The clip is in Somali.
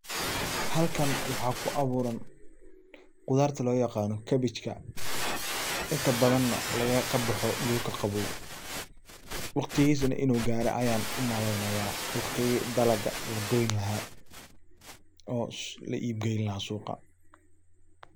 Halkan waxaa ku abuuran qudarta loo yaqano cabbage ka inta badana kabaxo dhulka qaboow waqtigiisana inu gare ayan u malaynaya waqtigi dalaga la goyn laha oo la iib gayn laha suuqa.